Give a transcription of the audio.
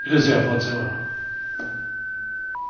Ich gebe Ihnen da natürlich völlig Recht.